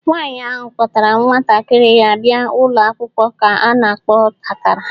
Nwaanyị ahụ kpọtara nwatakiri ya bịa ụlọ akwụkwọ a na-akpọ otakara.